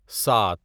سات